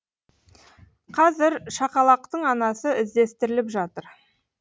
қазір шақалақтың анасы іздестіріліп жатыр